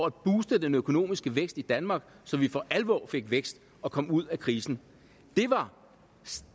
at booste den økonomiske vækst i danmark så vi for alvor fik vækst og kom ud af krisen